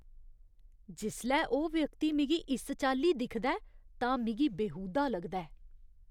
जिसलै ओह् व्यक्ति मिगी इस चाल्ली दिखदा ऐ तां मिगी बेहूदा लगदा ऐ।